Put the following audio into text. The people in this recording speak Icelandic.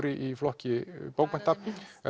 í flokki bókmennta